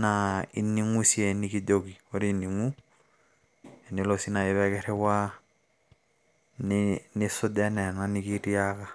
naa ining`u sii enikijoki, ore ining`u tenelo sii naaji pee kirriwaa nisuj enaa ena nikitiaka.